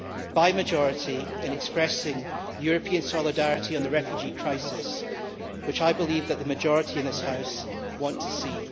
by majority, in expressing European solidarity on the refugee crisis, which, I believe, the majority in this House want to see.